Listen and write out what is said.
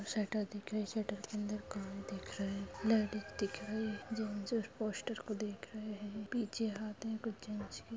shutter दिख रही है शटर के अंदर कार देख रहा है लेडीस दिख रही है जो पोस्टर को देख रहे हैं पीछे हाथ में कुछ--